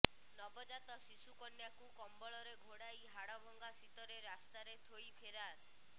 ନବଜାତ ଶିଶୁ କନ୍ୟାକୁ କମ୍ବଳରେ ଘୋଡାଇ ହାଡଭଙ୍ଗା ଶୀତରେ ରାସ୍ତାରେ ଥୋଇ ଫେରାର